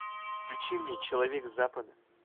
включи мне человек с запада